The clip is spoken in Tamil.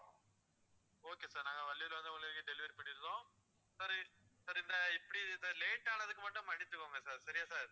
okay sir நாங்க வள்ளியூர்ல வந்து உங்களுக்கு delivery பண்ணிடறோம் sir இந்த இப்படி late ஆனதுக்கு மட்டும் மன்னிச்சிக்குங்க sir சரியா sir